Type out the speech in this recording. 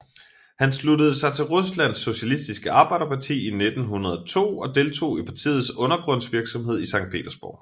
Han sluttede sig til Ruslands socialistiske arbejderparti i 1902 og deltog i partiets undergrundsvirksomhed i Sankt Petersborg